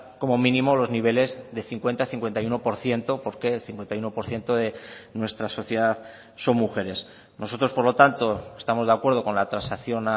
como mínimo los niveles de cincuenta cincuenta y uno por ciento porque el cincuenta y uno por ciento de nuestra sociedad son mujeres nosotros por lo tanto estamos de acuerdo con la transacción